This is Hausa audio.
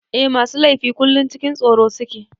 Eh masu laifi kullum cikin tsoro suke.